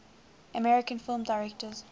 american film directors